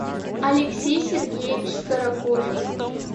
алексей сергеевич старокожев